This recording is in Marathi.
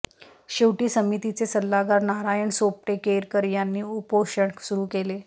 शेवटी समितीचे सल्लागार नारायण सोपटे केरकर यांनी उपोषण सुरु केले